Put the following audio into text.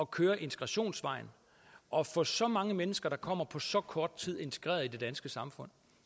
køre integrationsvejen og få så mange mennesker der kommer på så kort tid integreret i det danske samfund